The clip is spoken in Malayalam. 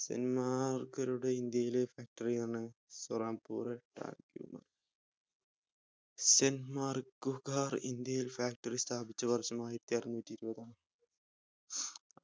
ഡെന്മാർക്കരുടെ ഇന്ത്യയിലെ factory ആണ് സൊരംഗ്പുർ factory ഡെന്മാർക്കുകാർ ഇന്ത്യയിൽ factory സ്ഥാപ്പിച്ച വർഷം ആയിരത്തിഅറുന്നൂറ്റിഇരുപത് ആണ്